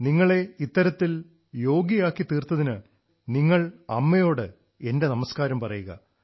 നിങ്ങളെ ഇത്തരത്തിൽ യോഗ്യയാക്കിത്തീർത്തതിന് നിങ്ങൾ അമ്മയോട് എന്റെ നമസ്കാരം പറയുക